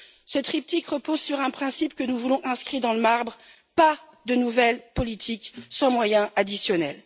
Ce triptyque repose sur un principe que nous voulons inscrit dans le marbre pas de nouvelle politique sans moyens additionnels.